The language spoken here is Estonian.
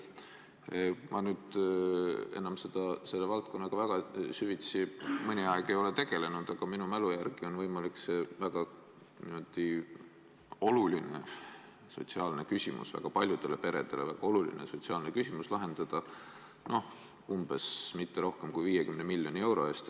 Ma enam selle valdkonnaga väga süvitsi mõnda aega ei ole tegelenud, aga minu mälu järgi on võimalik see paljudele peredele väga oluline sotsiaalne küsimus lahendada kõige rohkem 50 miljoni euro eest.